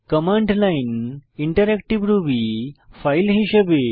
command line interactive Ruby file হিসাবে